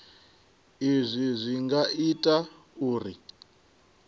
izwi zwi nga ita uri